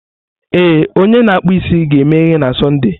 Ee, onye na-akpụ isi ga-emeghe na Sọnde.